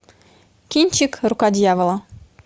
кинчик рука дьявола